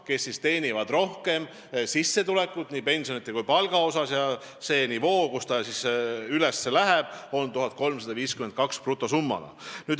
Nemad teenivad rohkem sissetulekut nii pensionilt kui ka palgalt ja see nivoo, kus see kohustus tekib, on brutosummana 1352 eurot.